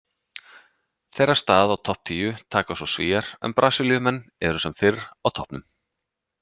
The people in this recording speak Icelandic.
Þeirra stað á topp tíu taka svo Svíar en Brasilíumenn eru sem fyrr á toppnum.